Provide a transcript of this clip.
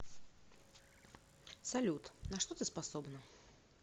салют на что ты способна